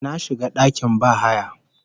Na shiga dakin bahaya